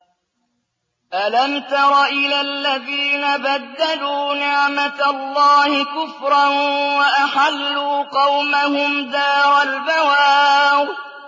۞ أَلَمْ تَرَ إِلَى الَّذِينَ بَدَّلُوا نِعْمَتَ اللَّهِ كُفْرًا وَأَحَلُّوا قَوْمَهُمْ دَارَ الْبَوَارِ